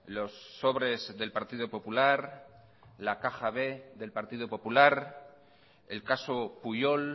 los sobres del partido popular la caja b del partido popular el caso pujol